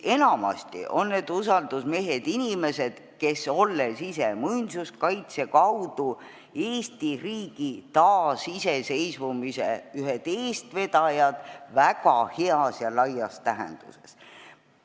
Enamasti on need usaldusmehed inimesed, kes olid ise muinsuskaitse kaudu Eesti riigi taasiseseisvumise ühed eestvedajad väga heas ja laias tähenduses.